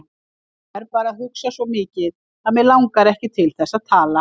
Ég er bara að hugsa svo mikið að mig langar ekki til þess að tala.